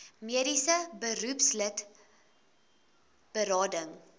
mediese beroepslid berading